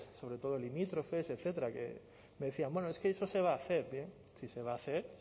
sobre todo limítrofes etcétera que me decían bueno es que eso se va a hacer eh si se va a hacer